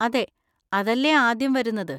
അതെ, അതല്ലേ ആദ്യം വരുന്നത്!